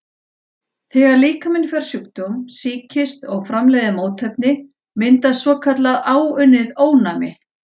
Þegar líkaminn fær sjúkdóm, sýkist, og framleiðir mótefni, myndast svokallað áunnið ónæmi.